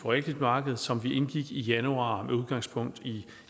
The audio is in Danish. realkreditmarkedet som vi indgik i januar med udgangspunkt i